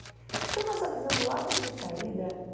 Então, nós avisamos logo de sair da